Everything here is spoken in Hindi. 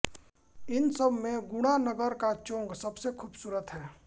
इन सब में गुणा नगर का चोंग सबसे खूबसूरत है